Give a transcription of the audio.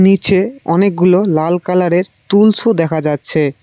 নিচে অনেকগুলো লাল কালারের টুলসও দেখা যাচ্ছে।